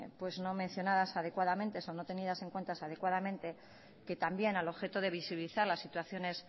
no mencionadas adecuadamente o no tenidas en cuenta adecuadamente que también al objeto de visibilizar las situaciones